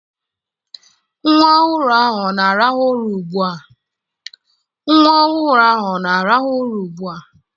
Nwa ọhụrụ ahụ ọ na-arahụ ụra ugbu a?